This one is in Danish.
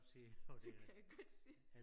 Det kan jeg godt se